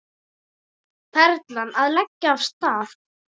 Perlan að leggja af stað